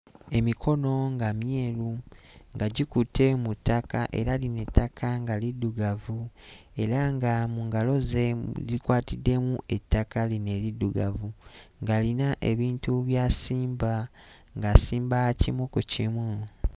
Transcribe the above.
Emikono nga myeru nga gikutte mu ttaka era lino ettaka nga liddugavu era nga mu ngalo ze likwatiddemu ettaka lino eriddugavu ng'alina ebintu by'asimba, ng'asimba kimu ku kimu.